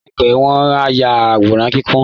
Láìpẹ́ wọn á ya àwòrán-kíkún